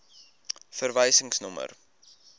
verwysingsnommer